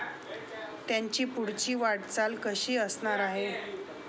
त्यांची पुढची वाटचाल कशी असणार आहे?